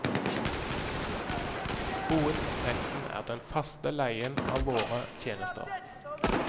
Hovedinntekten er den faste leien av våre tjenester.